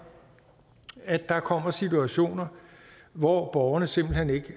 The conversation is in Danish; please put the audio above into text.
at der kommer situationer hvor borgerne simpelt hen ikke